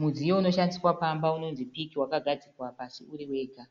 Mudziyo unoshandiswa pamba unonzi piki wakagadzikwa pasi uri wega.